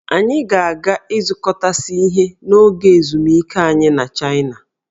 Anyị ga-aga ịzụkọtasị ihe n'oge ezumike anyị na Chaịna